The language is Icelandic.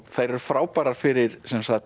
þær eru frábærar fyrir